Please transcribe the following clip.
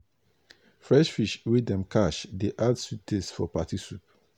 fresh fish wey dem catch dey add sweet taste for party soup.